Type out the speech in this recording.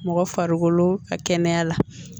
Mɔgɔ farikolo ka kɛnɛya la